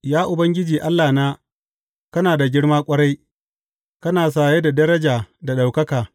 Ya Ubangiji Allahna, kana da girma ƙwarai; kana saye da daraja da ɗaukaka.